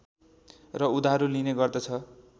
र उधारो लिने गर्दछ